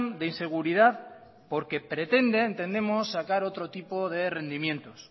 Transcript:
de inseguridad porque pretende entendemos sacar otro tipo de rendimientos